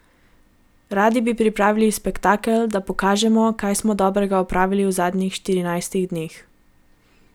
Radi bi pripravili spektakel, da pokažemo, kaj smo dobrega opravili v zadnjih štirinajstih dneh.